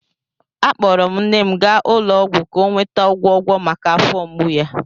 Akpọrọ m nne m gaa ụlọ ọgwụ ka ọ nweta ọgwọgwọ maka afọ mgbu ya.